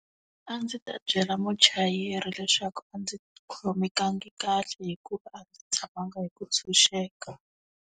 A ndzi ta byela muchayeri leswaku a ndzi khomekangi kahle hikuva a ndzi tshamanga hi ku ntshunxeka.